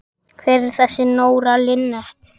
Hver er þessi Nóra Linnet?